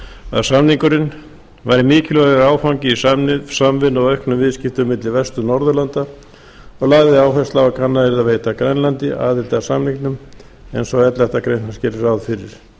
að samningurinn væri mikilvægur áfangi í samvinnu og auknum viðskiptum milli vestur norðurlanda og lagði áherslu á að kannað yrði að veita grænlandi aðild að samningnum eins og elleftu grein hans gerði ráð fyrir